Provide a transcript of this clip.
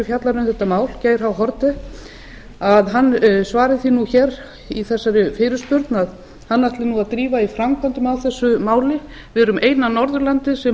fjallar um þetta mál geir h haarde hann svari því nú því nú hér í þessari fyrirspurn að hann ætli nú að drífa í framkvæmdum á þessu máli við erum eina norðurlandið sem